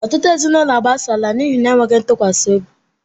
Ọtụtụ ezinụlọ agbasala n'ihi ekwesịghị ntụkwasị obi